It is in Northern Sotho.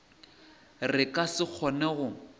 re ka se kgone go